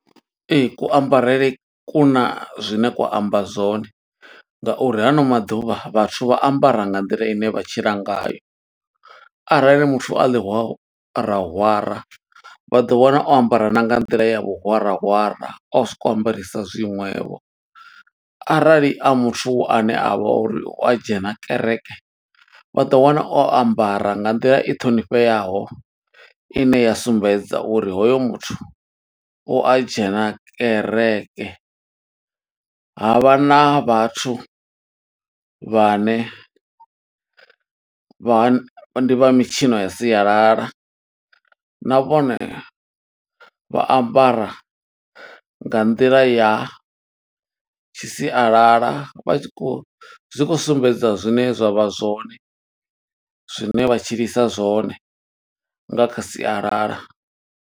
Ee, kuambarele kuna zwine kwa amba zwone nga uri hano maḓuvha vhathu vha ambara nga nḓila ine vha tshila ngayo. Arali muthu a ḽiwarawara vha ḓo wana o ambara na nga nḓila ya vhuhwarahwara o soko ambarisa zwiṅwevho. Arali a muthu ane avha uri u a dzhena kereke, vha ḓo wana o ambara nga nḓila i ṱhonifheaho, ine ya sumbedza uri hoyo muthu u a dzhena kereke. Ha vha na vhathu vhane vha ndi vha mitshino ya sialala, na vhone vha ambara nga nḓila ya tshi sialala. Vha tshi khou, zwi khou sumbedza zwine zwa vha zwone, zwine vha tshilisa zwone nga kha sialala.